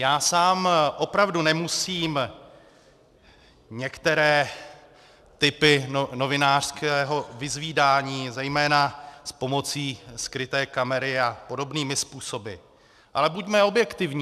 Já sám opravdu nemusím některé typy novinářského vyzvídání, zejména s pomocí skryté kamery a podobnými způsoby, ale buďme objektivní.